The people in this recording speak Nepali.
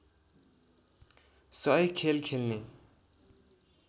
१०० खेल खेल्ने